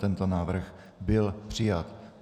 Tento návrh byl přijat.